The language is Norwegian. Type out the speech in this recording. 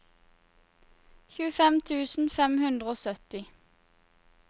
tjuefem tusen fem hundre og sytti